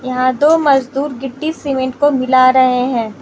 यहां दो मजदूर गिट्टी सीमेंट को मिल रहे हैं।